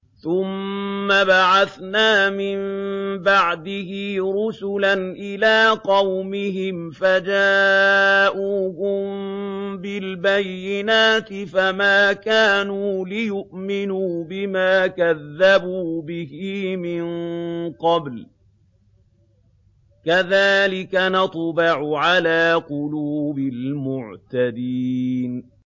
ثُمَّ بَعَثْنَا مِن بَعْدِهِ رُسُلًا إِلَىٰ قَوْمِهِمْ فَجَاءُوهُم بِالْبَيِّنَاتِ فَمَا كَانُوا لِيُؤْمِنُوا بِمَا كَذَّبُوا بِهِ مِن قَبْلُ ۚ كَذَٰلِكَ نَطْبَعُ عَلَىٰ قُلُوبِ الْمُعْتَدِينَ